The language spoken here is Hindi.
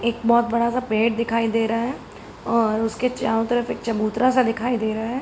एक बहोत बड़ा सा पेड़ दिखाई दे रहा है और उसके चारो तरफ एक चबूतरा सा दिखाई दे रहा है।